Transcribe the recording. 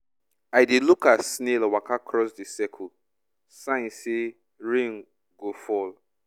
i dey look as snail waka cross the circle — sign say rain go fall